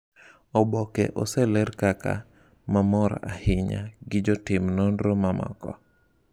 "Oboke oseler kaka ""ma mor ahinya"" gi jotim nonro mamoko."